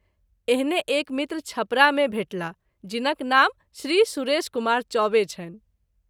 एहने एक मित्र छपरा मे भेटेलाह जिनक नाम श्री सुरेश कुमार चौबे छनि।